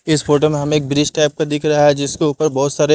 इस फोटो में हमें एक ब्रिज टाइप का दिख रहा है जिसके ऊपर बहुत सारे --